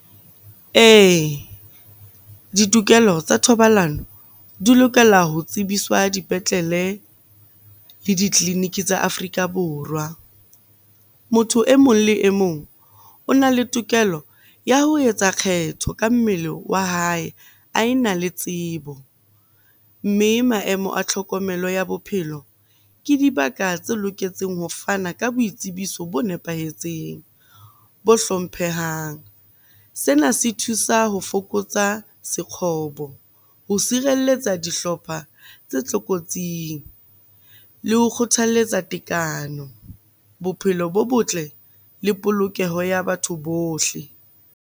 Ee, ditokelo tsa thobalano di lokela ho tsebiswa dipetlele le ditleliniki tsa Afrika Borwa. Motho e mong le e mong o na le tokelo ya ho etsa kgetho ka mmele wa hae, a ena le tsebo. Mme maemo a tlhokomelo ya bophelo ke dibaka tse loketseng ho fana ka boitsebiso bo nepahetseng, bo hlomphehang. Sena se thusa ho fokotsa sekgobo ho sirelletsa dihlopha tse tlokotsing, le ho kgothaletsa tekano, bophelo bo botle le polokeho ya batho bohle.